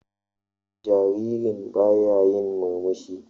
Jaririn baya yin murmushi.